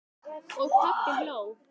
Og pabbi hló.